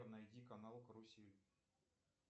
найди канал карусель